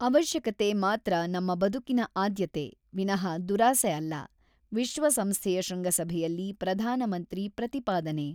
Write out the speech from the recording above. ಅವಶ್ಯಕತೆ ಮಾತ್ರ ನಮ್ಮ ಬದುಕಿನ ಆದ್ಯತೆ, ವಿನಃ ದುರಾಸೆ ಅಲ್ಲ ; ವಿಶ್ವ ಸಂಸ್ಥೆಯ ಶೃಂಗಸಭೆಯಲ್ಲಿ ಪ್ರಧಾನಮಂತ್ರಿ ಪ್ರತಿಪಾದನೆ.